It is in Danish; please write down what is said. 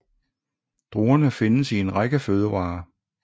Druerne findes i en række fødevarer